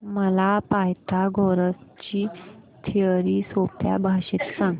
मला पायथागोरस ची थिअरी सोप्या भाषेत सांग